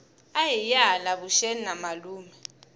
ahiye hala vuxeni na malume